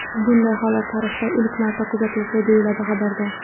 Bunday holat tarixda ilk marta kuzatilishi, deyiladi xabarda.